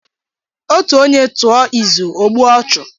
Otù onye tụọ izu, o gbuo ọchụ.